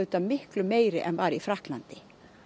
miklu meiri en var í Frakklandi